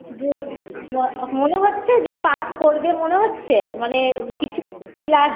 Good ম মনে হচ্ছে যে pass করবে মনে হচ্ছে মানে কিছু কি লা